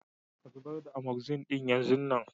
Ka zubar da " Amoxin " din yan zun nan.